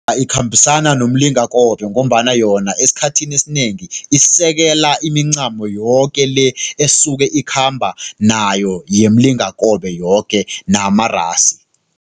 Ikhambisana nomlingakobe ngombana yona esikhathini esinengi, isekela imincamo yoke le esuke ikhamba nayo yemlingakobe yoke namarasi.